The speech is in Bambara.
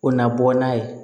O na bɔ n'a ye